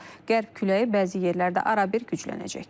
Qərb küləyi bəzi yerlərdə arabir güclənəcək.